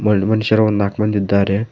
ಗಂಡ ಮನುಷ್ಯರು ಒಂದ ನಾಕ್ ಮಂದಿ ಇದ್ದಾರೆ.